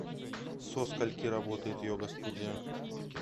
со скольки работает йога студия